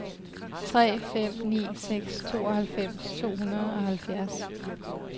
tre fem ni seks tooghalvfems to hundrede og halvfjerds